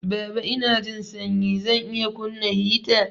Baba Inanjin sanyi. Zan iya kunna heater